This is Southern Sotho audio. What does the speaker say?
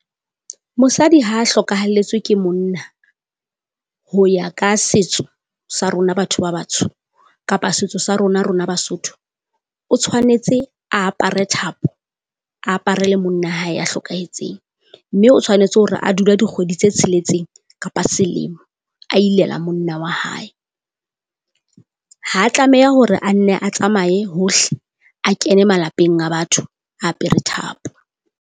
Mosadi ha hlokahelletswe ke monna, ho ya ka setso sa rona batho ba batsho, kapa setso sa rona rona Basotho, o tshwanetse a apare thapo a aparele monna hae ya hlokahetseng. Mme o tshwanetse hore a dule dikgwedi tse tsheletseng kapa selemo a ilela monna wa hae. Ha tlameha hore a nne a tsamaye hohle a kene malapeng a batho a apere thapo.